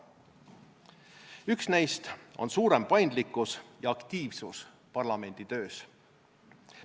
Üks neist on suurem paindlikkus ja aktiivsus parlamenditöös.